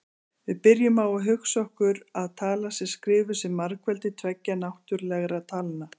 Við byrjum á að hugsa okkur að talan sé skrifuð sem margfeldi tveggja náttúrlegra talna: